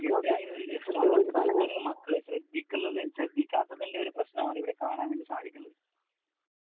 ഇവരാണെങ്കിൽ ഇവരുടെ മക്കളെ ശ്രദ്ധിക്കാത്തതിന്റെ ഒരു പ്രശ്നമാണ് ഇവിടെ കാണാൻ വേണ്ടി സാധിക്കുന്നത്.